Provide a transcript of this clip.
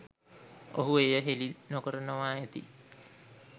ඔහු එය හෙළි නොකරනවා ඇති.